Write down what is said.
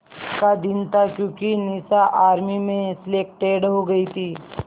का दिन था क्योंकि निशा आर्मी में सेलेक्टेड हो गई थी